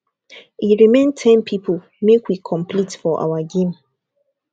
e remain ten people make we complete for our game